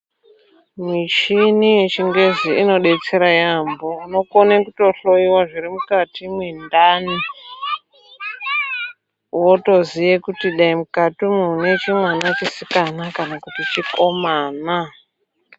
Michini yechingezi inodetsera yaampho inokone kutohloiwa zviri mukati mwendani. Wotoziye kuti dai mukati umo mune chimwana chisikana kana kuti chikomana.